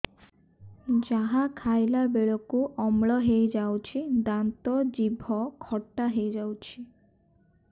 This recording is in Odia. ଯାହା ଖାଇଲା ବେଳକୁ ଅମ୍ଳ ହେଇଯାଉଛି ଦାନ୍ତ ଜିଭ ଖଟା ହେଇଯାଉଛି